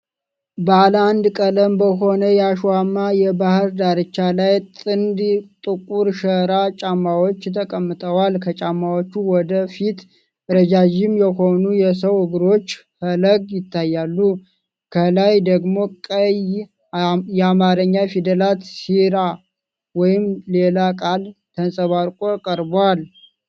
ባለ አንድ ቀለም በሆነው የአሸዋማ የባህር ዳርቻ ላይ ጥንድ ጥቁር ሸራ ጫማዎች ተቀምጠዋል። ከጫማዎቹ ወደ ፊት ረዣዥም የሆኑ የሰው እግሮች ፈለግ ይታያሉ። ከላይ ደግሞ ቀይ የአማርኛ ፊደላት 'ሲራ' (ወይም ሌላ ቃል) ተንጸባርቆ ቀርቧል።